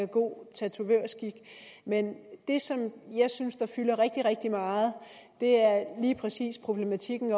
god tatovørskik men det som jeg synes fylder rigtig rigtig meget er lige præcis problematikken